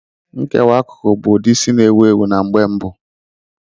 Nkewa akụkụ bụ ụdị isi na-ewu ewu mgbe mbu.